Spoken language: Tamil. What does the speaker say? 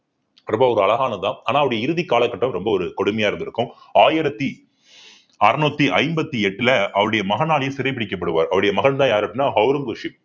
ரொம்ப ஒரு அழகானதுதான் ஆனா அவருடைய இறுதி காலகட்டம் ரொம்ப ஒரு கொடுமையா இருந்திருக்கும் ஆயிரத்தி அறுநூத்தி ஐம்பத்தி எட்டுல அவருடைய மகனாலையும் சிறை பிடிக்கப்படுவார் அவருடைய மகன்தான் யாரு அப்படின்னா ஔரங்கசீப்